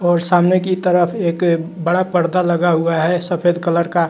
और सामने की तरफ एक बड़ा पर्दा लगा हुआ है सफेद कलर का।